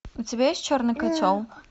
у тебя есть черный котел